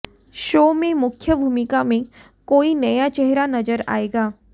show में मुख्य भूमिका में कोई नया चेहरा नजर आयेगा